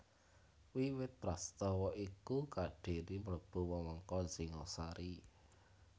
Wiwit prastawa iku Kadiri mlebu wewengkon Singhasari